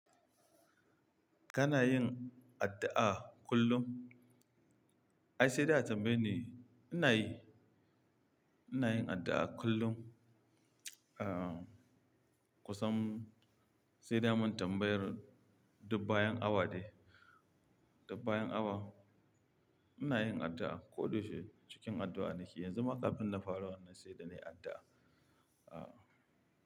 Kana yin addu'a kullum? Ai sai da a tambaye ni, ina yi, ina yin addu'a kullum. Ah, kusan sai da amun tambayar duk bayan awa ne, duk bayan awa. Ina yin addu'a ko da yaushe cikin addu'a nake yanzu ma kafin na fara wannan sai da ne addu'a. Ah.